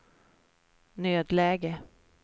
nödläge